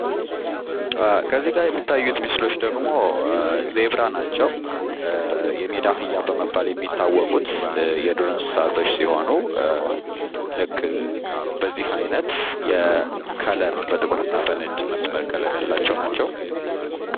ከዚጋ የሚታዩ ምስሎች ደሞ ዜብራ ናቸው። የሜዳ አህያ በመባል የሚታወቁት የዱር እንሰሳቶች ሲሆኑ ልክ በዚህ አይነት ከለር በጥቁርና በነጭ በስመር ከለር ያላቸው ናቸው።